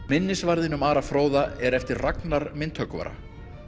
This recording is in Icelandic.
minnisvarðinn um Ara fróða er eftir Ragnar myndhöggvara